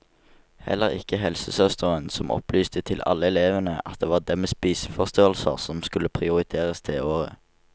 Heller ikke helsesøsteren som opplyste til alle elevene at det var dem med spiseforstyrrelser som skulle prioriteres det året.